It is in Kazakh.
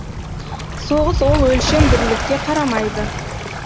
соғыс ол өлшем бірлікке қарамайды